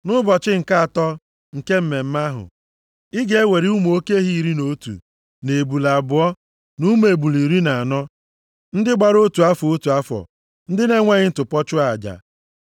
“ ‘Nʼụbọchị nke atọ nke mmemme ahụ, ị ga-ewere ụmụ oke ehi iri na otu, na ebule abụọ, na ụmụ ebule iri na anọ ndị gbara otu afọ, otu afọ, ndị na-enweghị ntụpọ, chụọ aja.